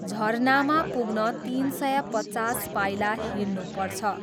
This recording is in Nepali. झरनामा पुग्न तिन सय पचास पाइला हिँड्नुपर्छ।